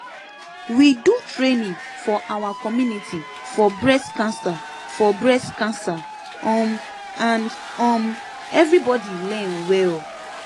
we do training for our community for breast cancer for breast cancer um and um everybody learn well